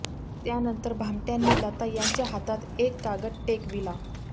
त्यानंतर भामटय़ांनी लता यांच्या हातात एक कागद टेकविला